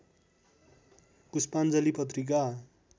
पुष्पाञ्जली पत्रिका